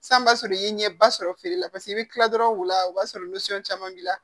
San b'a sɔrɔ i ye ɲɛba sɔrɔ feere la paseke i bɛ kila dɔrɔn wula o b'a sɔrɔ caman b'i la